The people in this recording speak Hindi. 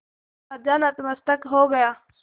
राजा नतमस्तक हो गया